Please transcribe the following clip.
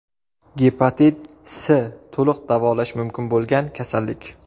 Gepatit S to‘liq davolash mumkin bo‘lgan kasallik.